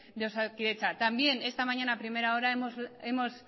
de osakidetza también esta mañana a primera hora hemos